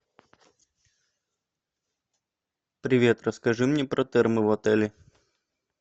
привет расскажи мне про термо в отеле